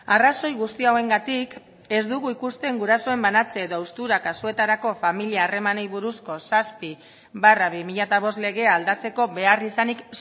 arrazoi guzti hauengatik ez dugu ikusten gurasoen banatze edo haustura kasuetarako familia harremanei buruzko zazpi barra bi mila bost legea aldatzeko beharrizanik